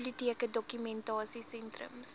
biblioteke dokumentasie sentrums